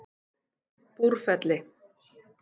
Búrfelli